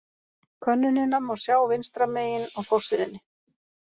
Könnunina má sjá vinstra megin á forsíðunni.